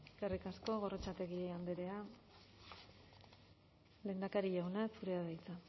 eskerrik asko gorrotxategi andrea lehendakari jauna zurea da hitza